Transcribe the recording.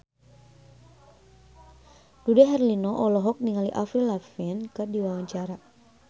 Dude Herlino olohok ningali Avril Lavigne keur diwawancara